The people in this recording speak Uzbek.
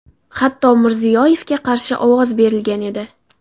Hatto Mirziyoyevga qarshi ovoz berilgan edi.